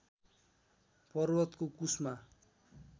पर्वतको कुस्मा